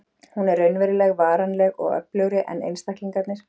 Hún er raunveruleg, varanleg og öflugri en einstaklingarnir.